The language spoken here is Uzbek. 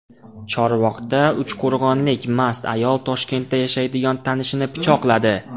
Chorvoqda uchqo‘rg‘onlik mast ayol Toshkentda yashaydigan tanishini pichoqladi.